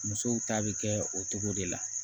Musow ta bɛ kɛ o cogo de la